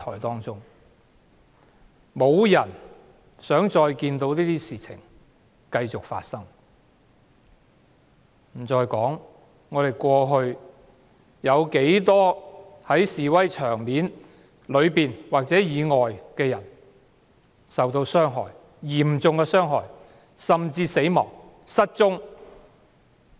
沒有人想這些事情繼續發生，遑論過去在示威現場內外有不計其數的人受嚴重傷害、死亡或失踪。